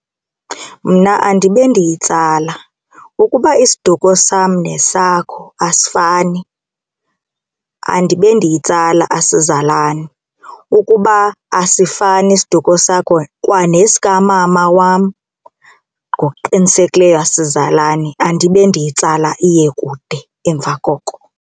Mna andibe ndiyitsala. Ukuba isiduko sam nesakho asifani andibe ndiyitsala asizalani. Ukuba asifani isiduko sakho kwa nesikamama wam ngokuqinisekileyo asizalani andibe ndiyitsala iye kude emva koko.